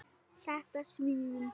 Þetta svín.